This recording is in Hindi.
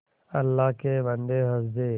अल्लाह के बन्दे हंस दे